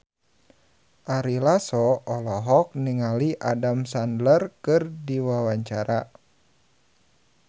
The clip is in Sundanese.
Ari Lasso olohok ningali Adam Sandler keur diwawancara